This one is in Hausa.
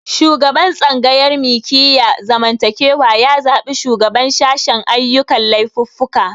Shugaban tsangayar mikiyar zamantakewa ya zabi shugaban sashen ayyukan laifuffuka